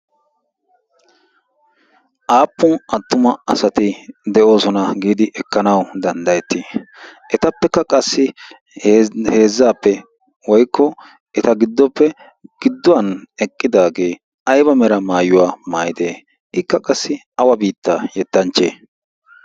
aappun attuma asati de7oosona giidi ekkanawu danddayettii? etappekka qassi heezzaappe woikko eta giddoppe gidduwan eqqidaagee aiba mera maayuwaa maayide? ikka qassi awa biitta yettanchche?